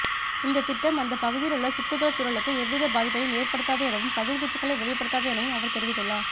இந்தத் திட்டம் அந்தப் பகுதியிலுள்ள சுற்றுப்புறச் சுழலுக்கு எவ்வித பாதிப்பையும் ஏற்படுத்தாது எனவும் கதிர்வீச்சுக்களை வெளிப்படுத்தாது எனவும் அவர் தெரிவித்துள்ளார்